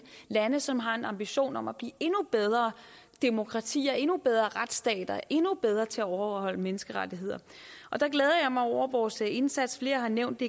lande som har en ambition om at blive endnu bedre demokratier endnu bedre retsstater endnu bedre til at overholde menneskerettigheder og der glæder jeg mig over vores indsats flere har nævnt